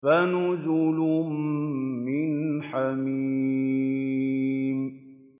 فَنُزُلٌ مِّنْ حَمِيمٍ